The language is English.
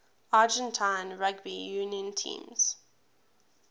argentine rugby union teams